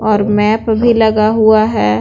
और मैप भी लगा हुआ है।